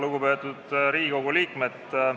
Lugupeetud Riigikogu liikmed!